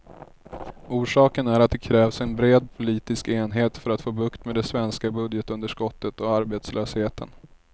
Orsaken är att det krävs en bred politisk enighet för att få bukt med det svenska budgetunderskottet och arbetslösheten.